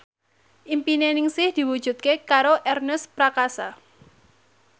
impine Ningsih diwujudke karo Ernest Prakasa